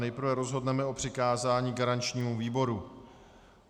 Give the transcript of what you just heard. Nejprve rozhodneme o přikázání garančnímu výboru.